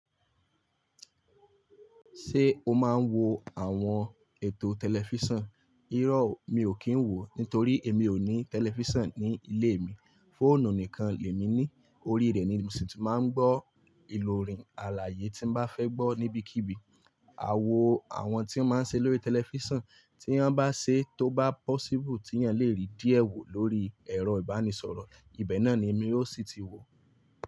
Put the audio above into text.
Ṣé o máa ń wo àwọn ètò tẹlifísàn? Irọ́ mi ò kí ń wò ó, nítorí èmi ò ní tẹlifísàn ní ilé mi. Fóònù nìkan lè mi ní, orí rẹ̀ ni mo sì ti máa ń gbọ́ ìlòrin àlàyé tí mo bá fẹ́ gbọ́ níbikíbi. Àwọ̀ àwọn tí wọ́n máa ń ṣe lórí tẹlifísàn tí wọ́n bá ṣe tó bá possible tí èèyàn lè rí díẹ̀ wò lórí ẹ̀rọ ìbánisọ̀rọ̀, ibẹ̀ náà ni èmi ó sì ti wò ó.